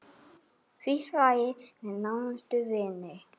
Frítt fæði fyrir nánustu vini.